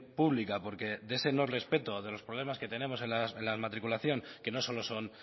pública porque de ese no respeto de los problemas que tenemos en las matriculación que no solo son